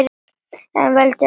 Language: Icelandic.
En veldur öxi samt!